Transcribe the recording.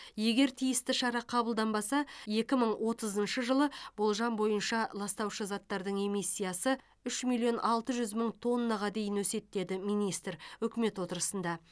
егер тиісті шара қабылданбаса екі мың отызыншы жылы болжам бойынша ластаушы заттардың эмиссиясы үш миллион алты жүз мың тоннаға дейін өседі деді министр үкімет отырысында